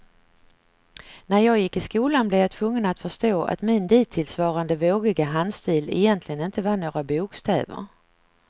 När jag gick i skolan blev jag tvungen att förstå att min dittillsvarande vågiga handstil egentligen inte var några bokstäver.